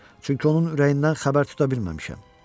Çünki onun ürəyindən xəbər tuta bilməmişəm.